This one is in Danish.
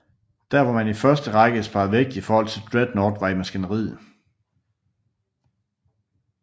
Der hvor man i første række sparede vægt i forhold til Dreadnought var i maskineriet